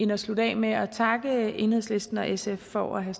at slutte af med at takke enhedslisten og sf for at have